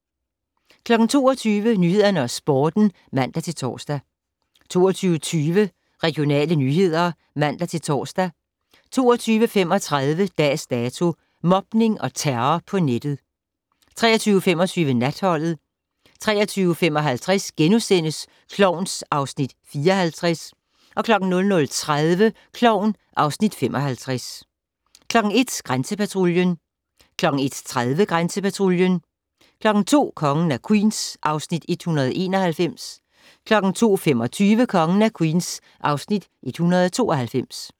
22:00: Nyhederne og Sporten (man-tor) 22:20: Regionale nyheder (man-tor) 22:35: Dags Dato: Mobning og terror på nettet 23:25: Natholdet 23:55: Klovn (Afs. 54)* 00:30: Klovn (Afs. 55) 01:00: Grænsepatruljen 01:30: Grænsepatruljen 02:00: Kongen af Queens (Afs. 191) 02:25: Kongen af Queens (Afs. 192)